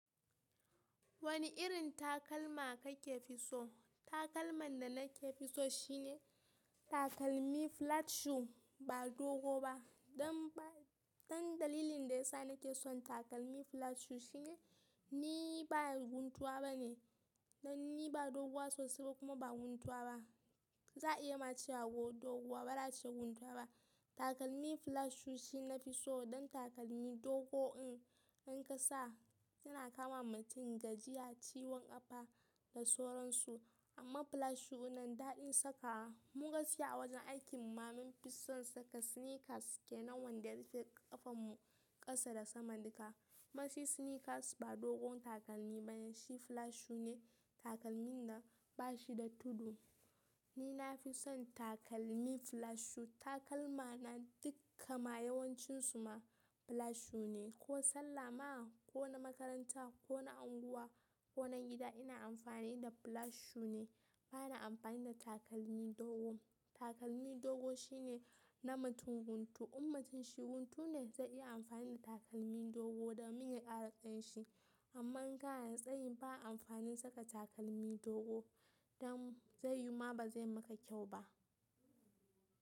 Wani irin takalma kake fi so? Takalman da nake fi so shine takalmi flat shoe ba dogo ba. Dan dalilin da yasa nake son takalmi flat shoe shine ni ba guntuwa bane. Dan ni ba doguwa sosai ba kuma ba guntuwa ba. Za a iya ma cewa doguwa bala ce guntuwa ba. Takalmi flat shoe shi nafi so dan takalmi dogo, in ka sa yana kama mutum gajiya, ciwon kafa da sauransu. Amma flat shoe nan daɗin saka. Mun gashi a wajen aikin mu, mamman fi son saka sneakers ke nan wanda ya rufe ƙafan mu ƙasa da sama duka. Mace sneakers ba dogon takalmi bane, shi flat shoe ne takalmin da bashi da tudu. Ni nafi son takalmi flat shoe. Takalma na dukkan ma yawancin su ma flat shoe ne. Ko sallah ma, ko na makaranta, ko na unguwa, ko nan gida ina amfani da flat shoe ne. Bana amfani da takalmi dogo. Takalmi dogo shine na mutum guntu. In mutum shi guntu ne zai iya amfani da takalmi dogo domin ya ƙara ƙanshin. Amma in ga yanzu tsayin ba amfanin saka takalmi dogo dan zai yima bazai maka kyau ba.